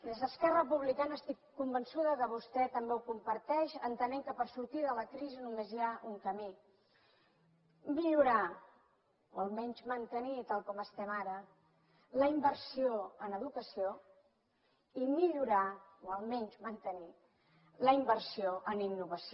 des d’esquerra republicana estic convençuda que vostè també ho comparteix entenem que per sortir de la crisi només hi ha un camí millorar o almenys mantenir tal com estem ara la inversió en educació i millorar o almenys mantenir la inversió en innovació